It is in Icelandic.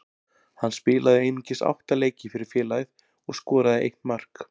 Hann spilaði einungis átta leiki fyrir félagið og skoraði eitt mark.